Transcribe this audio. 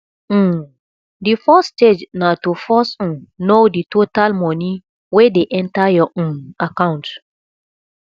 um di first stage na to first um know di total money wey de enter your um account